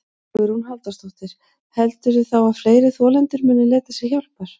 Hugrún Halldórsdóttir: Heldurðu þá að fleiri þolendur muni leita sér hjálpar?